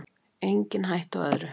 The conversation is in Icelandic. Engin hætta á öðru!